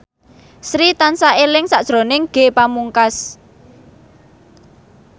Sri tansah eling sakjroning Ge Pamungkas